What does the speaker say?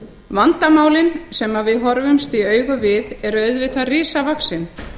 vandamálin sem við horfumst í augu við eru auðvitað risavaxin